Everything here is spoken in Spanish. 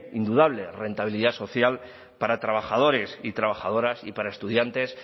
indudable rentabilidad social para trabajadores y trabajadoras y para estudiantes